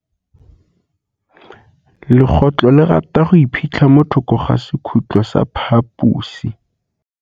Legôtlô le rata go iphitlha mo thokô ga sekhutlo sa phaposi.